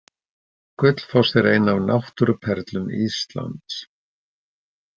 Gullfoss er ein af náttúruperlum Íslands.